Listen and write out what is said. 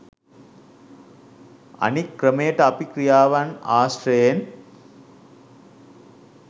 අනික් ක්‍රමයට අපි ක්‍රියාවන් ආශ්‍රයෙන්